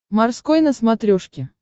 морской на смотрешке